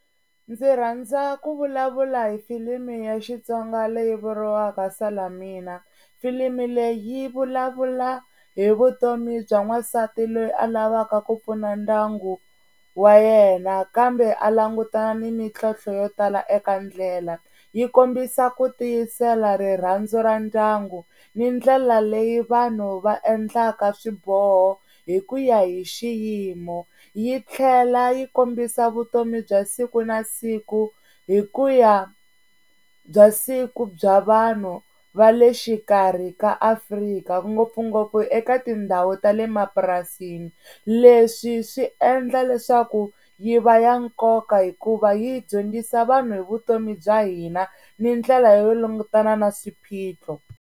Ndzi rhandza ku vulavula hi filimi ya Xitsonga leyi vuriwaka salamina. Filimi leyi yi vulavula hi vutomi bya n'wansati loyi a lavaka ku pfuna ndyangu wa yena, kambe a langutana ni mintlhotlho yo tala eka ndlela. Yi kombisa ku tiyisela, rirhandzu ra ndyangu ni ndlela leyi vanhu va endlaka swiboho hi ku ya hi xiyimo. Yi tlhela yi kombisa vutomi bya siku na siku hi ku ya bya siku bya vanhu va le xikarhi ka Afrika ngopfungopfu eka tindhawu ta le mapurasini. Leswi swi endla leswaku yi va ya nkoka hikuva yi hi dyondzisa vanhu hi vutomi bya hina ni ndlela yo langutana na swiphiqo.